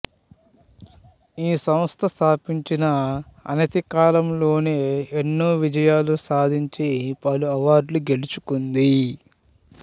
ఈ సంస్థ స్థాపించిన అనతి కాలంలోనే ఎన్నో విజయాలు సాధించి పలు అవార్డులు గెలుచుకుంది